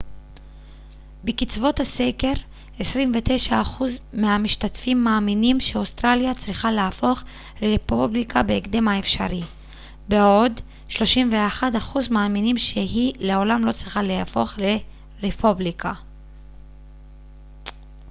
בקצוות הסקר 29% מהמשתתפים מאמינים שאוסטרליה צריכה להפוך לרפובליקה בהקדם האפשרי בעוד 31% מאמינים שהיא לעולם לא צריכה להפוך לרפובליקה